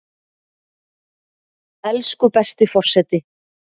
Elsku besti forseti!